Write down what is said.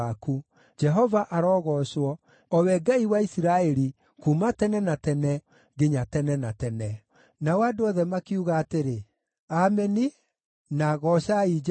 Jehova arogoocwo, o we Ngai wa Isiraeli, kuuma tene na tene, nginya tene na tene. Nao andũ othe makiuga atĩrĩ, “Ameni” na “Goocai Jehova.”